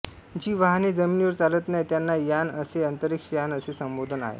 जी वाहने जमिनीवर चालत नाही त्यांना यान जसे अंतरिक्ष यान असे संबोधन आहे